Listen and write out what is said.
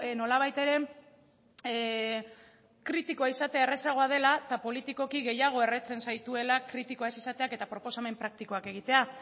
nolabait ere kritikoa izatea errazagoa dela eta politikoki gehiago erretzen zaituela kritikoa ez izateak eta proposamen praktikoak egitea